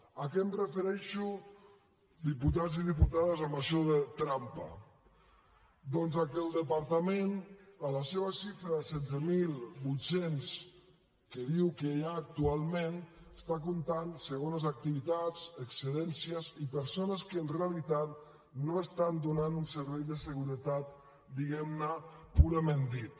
a què em refereixo diputats i diputades amb això de trampa doncs que el departament en la seva xifra de setze mil vuit cents que diu que hi ha actualment està comptant segones activitats excedències i persones que en realitat no estan donant un servei de seguretat diguem ne purament dit